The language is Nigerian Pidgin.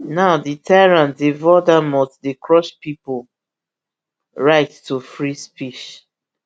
now di tyrant de voldemort dey crush pipo right to free speech